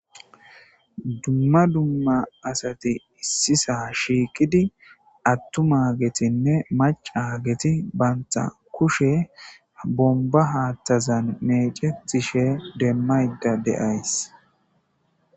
Dumma dumma asati issisa shiikidi attumagetinne macageti banta kushe bomba haattazan meecetishe demmayda deays.